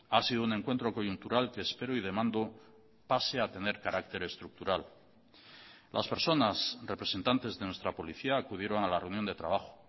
ha sido un encuentro coyuntural que espero y demando pase a tener carácter estructural las personas representantes de nuestra policía acudieron a la reunión de trabajo